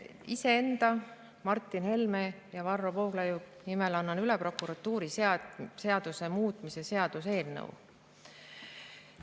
Iseenda, Martin Helme ja Varro Vooglaiu nimel annan üle prokuratuuriseaduse muutmise seaduse eelnõu.